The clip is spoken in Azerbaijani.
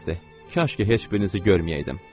Kaş ki heç birinizi görməyəydim.